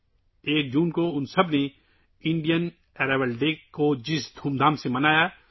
ان کے جذبات اس شان و شوکت سے واضح طور پر جھلکتے ہیں جس کے ساتھ ان سب نے یکم جون کو ہندوستانی آمد کا دن منایا